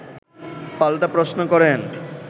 পাল্টা প্রশ্ন করেন